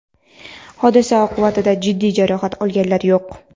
Hodisa oqibatida jiddiy jarohat olganlar yo‘q.